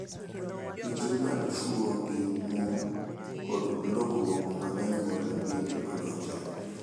Tije mag chwo gi mon kod lokruok mag anyuola bende odonjore.